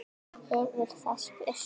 hefur það spurt.